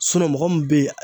S inɔn mɔgɔ min be yen